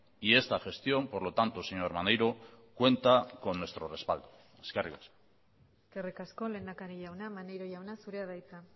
y esta gestión por lo tanto señor maneiro cuenta con nuestro respaldo eskerrik asko eskerrik asko lehendakari jauna maneiro jauna zurea da hitza